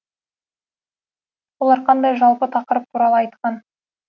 олар қандай жалпы тақырып туралы айтқан